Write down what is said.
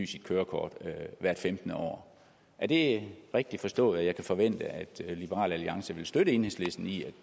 sit kørekort hvert femtende år er det rigtigt forstået at jeg kan forvente at liberal alliance faktisk vil støtte enhedslisten i at